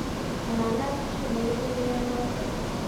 Manaat kit neipu mianotok.